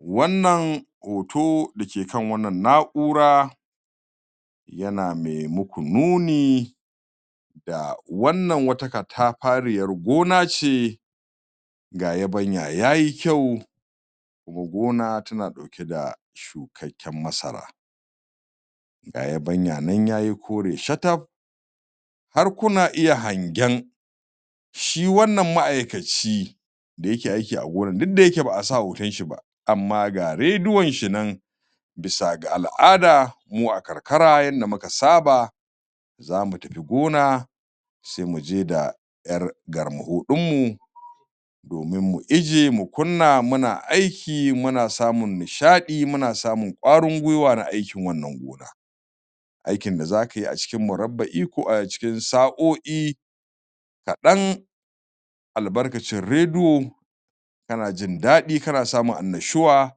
Wannan hoto da ke kan wannan na'ura yana mai muku nuni wannan wata katafariyar gona ce ga yabanya ya yi kayu Gona tana ɗauke da shukakken masara. Ga yabanya nan ya yi kore shataf Har kuna iya hangen shi wannan ma'aikaci da yake aiki a gonar duk da yake ba a sa hoton shi ba amma ga rediyon shi nan Bisa ga al'ada mu a karkara yanda muka saba, za mu tafi gona sai mu je da ƴar garnmaho ɗinmu. domin mu ijjiye mu kunna muna aiki, muna samun nishaɗi, muna samun ƙwarin gwiwa na aikin wannan gona. Aikin da za ka yi a cikin murabba'i ko a cikin sa'o'i kaɗan albarkacin rediyo kana jin daɗi kana samun annashuwa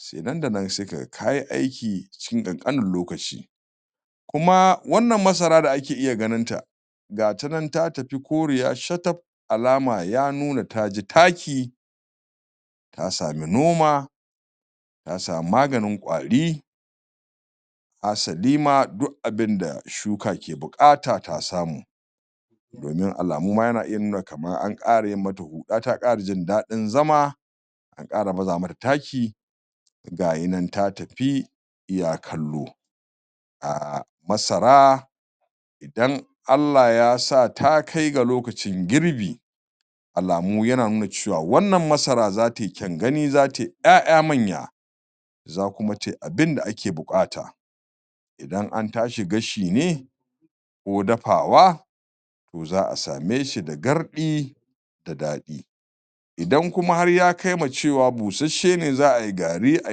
sai nan da nan sai ka ga ka yi aiki cikin ƙanƙanin lokaci. Kuma wannan masara da ake iya ganinta ga ta nan ta tafi koriya shataf; alama ya nuna ta ji taki ta sami noma ta samu maganin ƙwari hasali ma, duk abin da shuka ke buƙata ta samu. Domin alamu ma yana iya nuna kamar an ƙara yi mata huɗa ta ƙara jin daɗin zama an ƙara baza mata taki ga yi nan ta tafi iya kallo. um Masara idan Allah Ya sa ta kai ga lokacin girbi alamu yana nuna cewa wannan masara za ta yi kyan gani, za ta yi ƴaƴa manya za kuma tai abin da ake buƙata Idan an tashi gashi ne, ko dafawa to za a same shi da garɗi da daɗi. Idan kuma ya kai ga cewa busasshe ne za a yi gari, a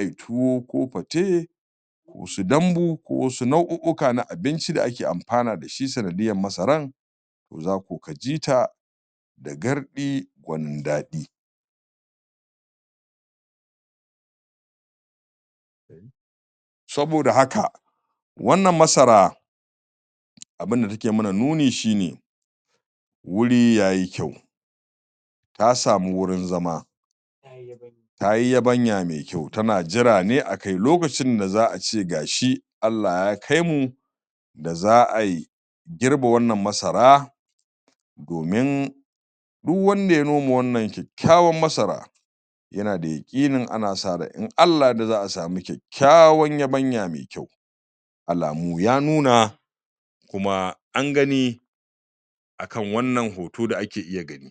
yi tuwo ko fate ko su dambu, ko wasu nau'u'uka na abinci da ake amfana da shi sanadiyyan masaran za ko ka ji ta garɗi gwanin daɗi. Saboda haka, wannan masara abin da take mana nuni shi ne wuri ya yi kyau. Ta samu wurin zaman Ta yi yabanya mai kyau, tana jira ne a kai lokacin da za a ce ga shi Allah Ya kai mu za a yi girbe wannan masara domin du wanda ya noma wannan kyakkyawan masara yana da yaƙinin ana sa ran in Allah Ya yarda za a samu kyakkyawan yabnaya mai kyau. alamu ya nuna kuma an gani a kan wannan hoto da ake iya gani.